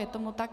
Je tomu tak.